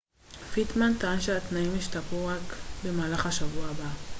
פיטמן טען שהתנאים ישתפרו רק במהלך השבוע הבא